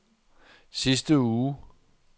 sidste uge